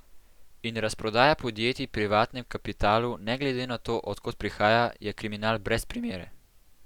In razprodaja podjetij privatnem kapitalu, ne glede na to, od kod prihaja, je kriminal brez primere.